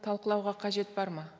талқылауға қажет бар ма